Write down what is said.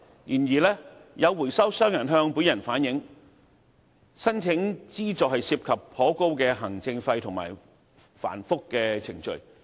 然而，有回收商向本人反映，申請資助涉及頗高的行政費和繁複的程序。